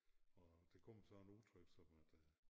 Og der kom så en udtryk som at øh